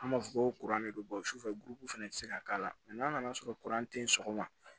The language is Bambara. An b'a fɔ ko de don sufɛ gurukuru fana ti se ka k'a la n'a nana sɔrɔ tɛ yen sɔgɔma